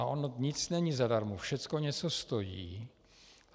A ono nic není zadarmo, všecko něco stojí.